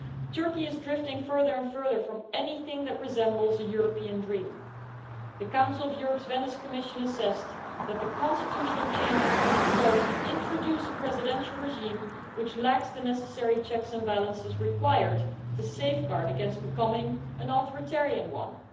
Turkey is drifting further and further from anything that resembles a European dream. The Council of Europe's Venice Commission assessed that the constitutional changes would introduce a presidential regime which lacks the necessary checks and balances required to safeguard against becoming an authoritarian one'.